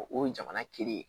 O ye jamana kelen ye